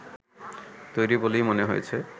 তৈরি বলেই মনে হয়েছে